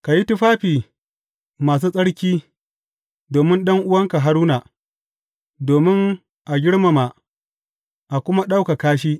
Ka yi tufafi masu tsarki domin ɗan’uwanka Haruna, domin a girmama, a kuma ɗaukaka shi.